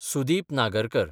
Sudeep Nagarkar